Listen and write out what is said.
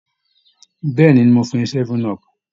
Bẹ́ẹ̀ ni, mo fún un ní 7up